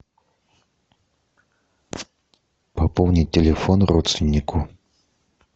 пополнить телефон родственнику